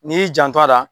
N'i y'i janto a la